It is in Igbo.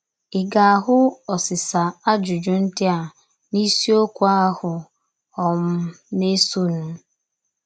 Ị ga - ahụ osisa ajụjụ ndị a n’isiokwu ahụ um na - esonụ?.